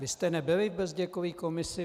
Vy jste nebyli v Bezděkové komisi?